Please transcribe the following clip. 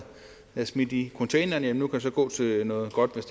smidt i en container nu kan gå til noget godt